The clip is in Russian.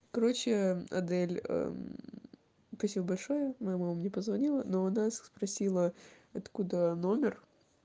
короче адель спасибо большое моя мама мне позвонила но она спросила откуда номер